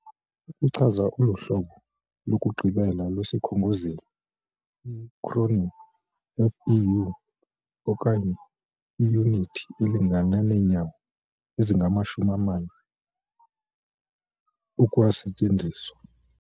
Ukuchaza olu hlobo lokugqibela lwesikhongozeli, i akronim FEU, okanye "iyunithi elingana neenyawo ezingamashumi amane", ukwasetyenziswa.